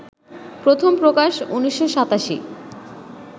প্রথম প্রকাশ ১৯৮৭